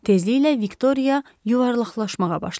Tezliklə Viktoria yuvarlaqlaşmağa başladı.